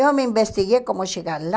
Eu me investiguei como chegar lá.